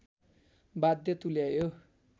बाध्य तुल्यायो